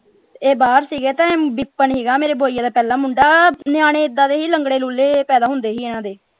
ਇਹ ਬਾਹਰ ਸੀਗੇ ਤੇ ਵਿਪਨ ਸੀਗਾ ਮੇਰੇ ਬੁਆ ਜੀ ਦਾ ਪਹਿਲਾਂ ਮੁੰਡਾ ਨਿਆਣੇ ਏਦਾਂ ਦੇ ਹੀ ਲੰਗੜੇ ਲੂਲੇ ਜੇ ਪੈਦਾ ਹੁੰਦੇ ਸੀ ਇਨ੍ਹਾਂ ਦੇ।